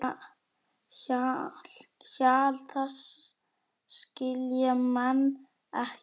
Hjal þess skilja menn ekki.